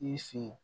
I sen